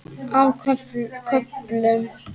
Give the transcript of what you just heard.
Á köflum.